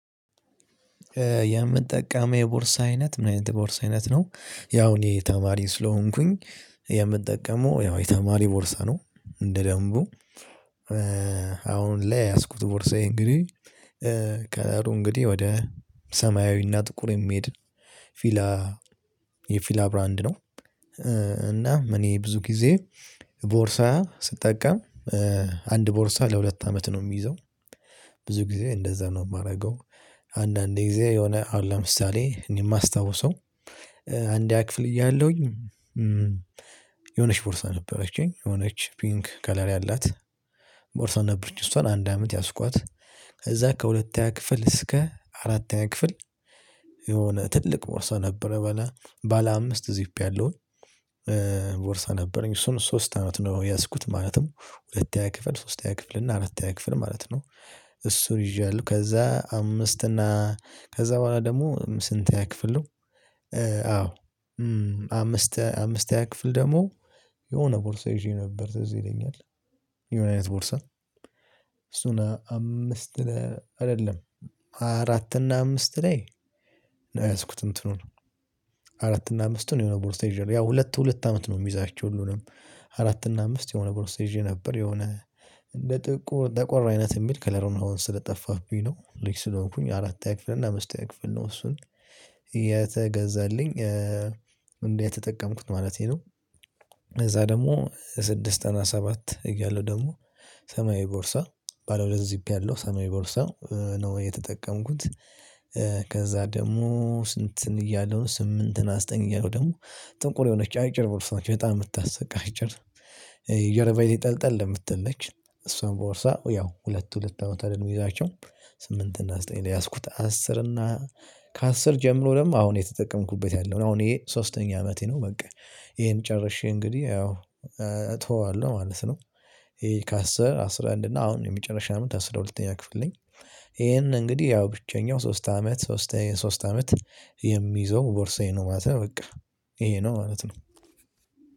የምጠቀመው የቦርሳ አይነት ምን አይነት የቦርሳ አይነት ነው ያው እኔ ተማሪ ስለሆንኩኝ። የምጠቀመው ያው የተማሪ ቦርሳ ነው እንደ ደንቡ። አሁን ላይ የያዝኩት ቦርሳዬ እንግዲህ። ከረሩ እንግዲህ ወደ ሰማያዊና ጥቁር የሚሄድ ፊላ የፊላ ብራንድ ነው። እና እኔ ብዙ ጊዜ ቦርሳ ስጠቀም አንድ ቦርሳ ለሁለት አመት ነው የሚይዘው። ብዙ ጊዜ እንደዛ ነው የማደርገው። አንዳንዴ ጊዜ የሆነ አሁን ለምሳሌ የማስታውሰው። አንድያ ክፍል እያለሁኝ። የሆነች ቦርሳ ነበረችኝ የሆነች ፒንክ ከለር ያላት ቦርሳ ነበረች እሷን አንድ አመት ያዝኳት። ከዛ ከሁለተኛ ክፍል እስከ አራተኛ ክፍል። የሆነ ትልቅ ቦርሳ ነበረ በላ ባለ አምስት ዚፕ ያለውን ቦርሳ ነበረኝ እሱን ሶስት አመት ነው የያዝኩት ማለትም። ሁለትስ ክፍል ሶስትያ ክፍል እና አራትያ ክፍል ማለት ነው። እሱን ይዣለው ከዛ አምስት እና ከዛ በኋላ ደግሞ ስንተኛ ክፍል ነው? አዎ አምስተኛ ክፍል ደግሞ የሆነ ቦርሳ ይዤ ነበር ትዝ ይለኛል። የሆነ አይነት ቦርሳ። እሱን አምስት አይደለም አራት እና አምስት ላይ ነው የያዝኩት እንትኑን። አራት እና አምስቱን የሆነ ቦርሳ ይዣለው ያው ሁለት ሁለት አመት ነው የሚዛቸው። ሁሉንም አራት እና አምስት የሆነ ቦርስ ይዤ ነበር። የሆነ እንደ ጥቁር ጠቆር አይነት የሚል ከለሩን አሁን ስለጠፋብኝ ነው ልጅ ስለሆንኩኝ አራተኛ ክፍል እና አመስተኛ ክፍል ነው እሱን የተገዛልኝ። እንዴ የተጠቀምኩት ማለቴ ነው። ደግሞ በስድስት እና ሰባት እያለው ደግሞ ሰማያዊ ቦርሳ ባለ ሁለት ዚፕ ያለው ሰማያዊ ቦርሳ ነው የተጠቀምኩት። ከዛ ደግሞ ስንትን እያለሁ ስምንት እና ዘጠንኝ እያለው ደግሞ ጥቁር የሆነች አጭር ቦርሳች በጣም የምታስቅ አጭር ጀርባዬ ላይ ጠልጠል እምትል ነች። እሷን ቦርሳ ያው ሁለት ሁለት አመት አይደለም ምይዛቸው። ስምንት እና ዘጠኝ ላይ ያዝኩት አስር እና ከአስር ጀምሮ ደግሞ አሁን እተጠቀምኩበት ያለው ነው አሁን ይሄ ሶስተኛ አመቴ ነው በቃ። ይሄን ጨርሼ እንግዲህ ያው እተወዋለሁ ማለት ነው። ይሄ ከአስር አስራ አንድ እና አሁን የመጨረሻው አመት አስራ ሁለተኛ ክፍል ነኝ። ይሄን እንግዲህ ያው ብቸኛው ሶስት አመት ሶስት ሶስት አመት የሚይዘው ቦርሳዬ ነው ማለት ነው በቃ። ይሄ ነው ማለት ነው።